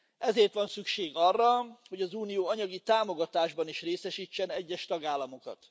Ezért van szükség arra, hogy az unió anyagi támogatásban is részesítsen egyes tagállamokat.